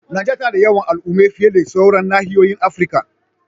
Najeriya tana da yawan al'umma fiye da sauran nahiyoyin Afirka.